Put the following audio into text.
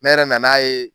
Ne yɛrɛ nan'a ye